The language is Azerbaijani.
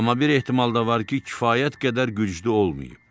Amma bir ehtimal da var ki, kifayət qədər güclü olmayıb.